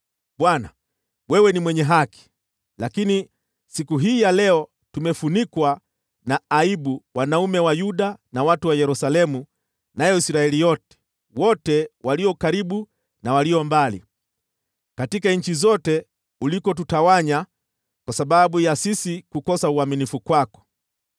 “Bwana, wewe ni mwenye haki, lakini siku hii ya leo tumefunikwa na aibu: tukiwa wanaume wa Yuda, na watu wa Yerusalemu, na Israeli yote, wote walio karibu na walio mbali, katika nchi zote ulikotutawanya kwa sababu ya kukosa uaminifu kwako.